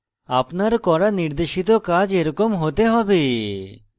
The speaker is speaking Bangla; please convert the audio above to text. আপনার করা নির্দেশিত কাজ এরকম হতে হবে